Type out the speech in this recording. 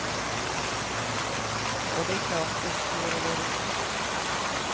Och det är klart, visst vore det roligt.